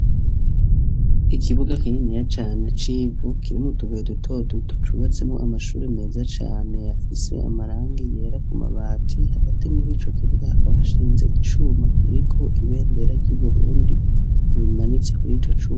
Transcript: Ikibuga kininiya cane civu kirimwo utubuye duto duto cubatsemwo amashuri meza cane afise amarangi yera ku mabati hagati murico kibuga hakaba hashinze icuma kiriko ibendera ry'uburundi rimanitse kurico cuma.